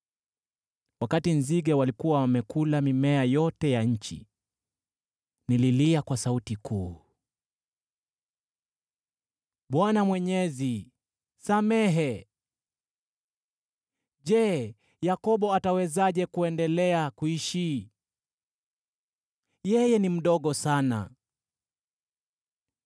Wakati nzige walikuwa wamekula mimea yote ya nchi, nililia kwa sauti kuu, “ Bwana Mwenyezi, samehe! Je, Yakobo atawezaje kuendelea kuishi? Yeye ni mdogo sana!”